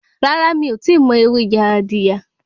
Rárá, mí ò tíì mọ ewé Yaadiya.